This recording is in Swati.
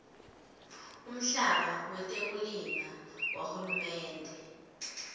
umhlaba wetekulima wahulumende